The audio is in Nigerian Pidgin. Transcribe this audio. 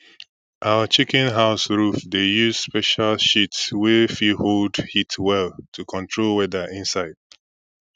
our chicken house roof dey use special sheet wey fit hold heat well to control weather inside